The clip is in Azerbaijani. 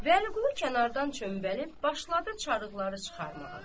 Vəliqulu kənardan çömvəlib başladı çarıqları çıxarmağa.